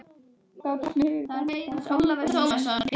Þá datt mér í hug að benda á fangahúsið.